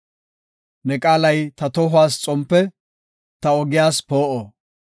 Ne qaalay ta tohuwas xompe, ta ogiyas poo7o.